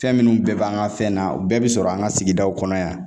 Fɛn minnu bɛɛ b'an ka fɛn na u bɛɛ bɛ sɔrɔ an ka sigidaw kɔnɔ yan